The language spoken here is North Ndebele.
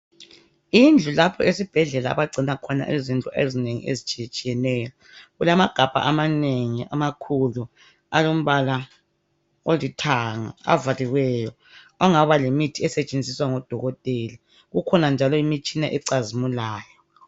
Indlu lapho esibhedlela abangcina izindlu ezinengi ezitshiyetshiyeneyo, kulamagabha amanengi amakhulu alombala olithanga avaliweyo angaba yimithi esetshenziswa ngodokotela. Kukhona njalo imitshina ecazimulayo.